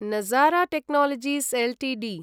नजारा technologies Ltd